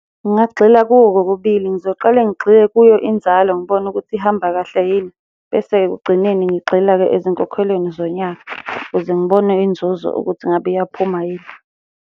Ngingagxila kuko kokubili, ngizoqale ngigxile kuyo inzalo ngibone ukuthi ihamba kahle yini, bese ekugcineni ngigxila-ke ezinkokhelweni zonyaka, ukuze ngibone inzuzo ukuthi ngabe iyaphuma yini.